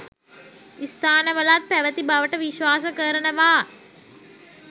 ස්ථානවලත් පැවති බවට විශ්වාස කරනවා.